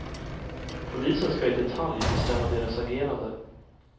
Polisen skall i detalj bestämma deras agerande.